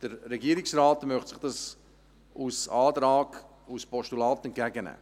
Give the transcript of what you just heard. Der Regierungsrat möchte dies als Antrag, als Postulat, entgegennehmen.